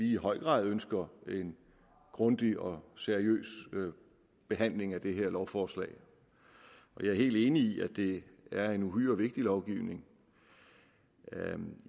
i høj grad ønsker en grundig og seriøs behandling af det her lovforslag jeg er helt enig i at det er en uhyre vigtig lovgivning